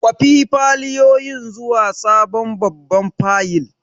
Kwafi fayilolin zuwa sabon babban fayil!